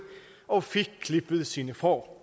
og fik klippet sine får